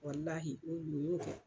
Walahi o y'o kɛ